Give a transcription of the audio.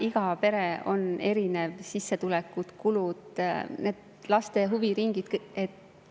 Iga pere on erinev: sissetulekud, kulud, laste huviringid.